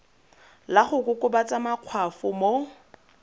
la go kokobatsa makgwafo mo